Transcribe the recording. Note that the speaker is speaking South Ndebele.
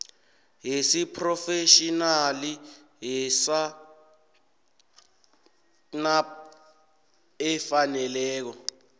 yesiphrofetjhinali yesacnasp efaneleko